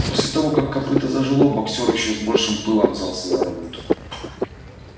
после того как копыто зажило боксёр ещё с большим пылом взялся за работу